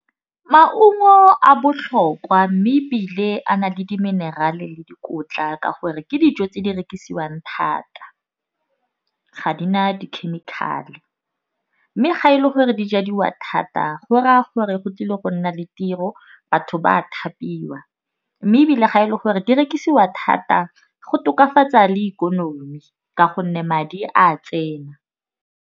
Maungo a botlhokwa mme ebile a na le di-mineral-e le dikotla. Ka gore ke dijo tse di rekisiwang thata. Ga di na di chemical-e. Mme ga e le gore jadiwa thata go raya gore go tlile go nna le tiro batho ba a thapiwa. Mme ebile ga e le gore di rekisiwa thata go tokafatsa le ikonomi, ka gonne madi a tsena.